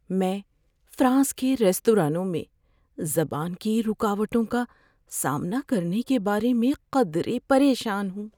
میں فرانس کے ریستورانوں میں زبان کی رکاوٹوں کا سامنا کرنے کے بارے میں قدرے پریشان ہوں۔